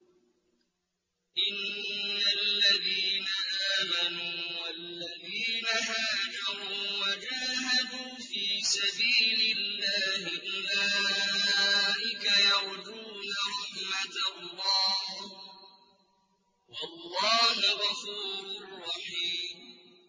إِنَّ الَّذِينَ آمَنُوا وَالَّذِينَ هَاجَرُوا وَجَاهَدُوا فِي سَبِيلِ اللَّهِ أُولَٰئِكَ يَرْجُونَ رَحْمَتَ اللَّهِ ۚ وَاللَّهُ غَفُورٌ رَّحِيمٌ